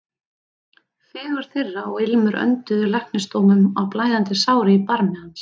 Fegurð þeirra og ilmur önduðu læknisdómum á blæðandi sárin í barmi hans.